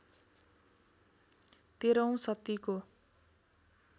१३ औँ शतीको